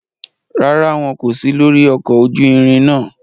Ràrá, wọn ko si lori ọkọ ojú ìrin náà